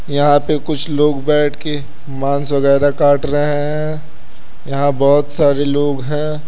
यहां पे कुछ लोग बैठ के मांस वगैरह काट रहे हैं। यहां बहोत सारे लोग हैं।